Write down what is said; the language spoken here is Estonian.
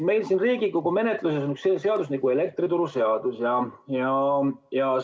Meil siin Riigikogu menetluses on elektrituruseadus.